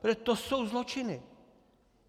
Protože to jsou zločiny!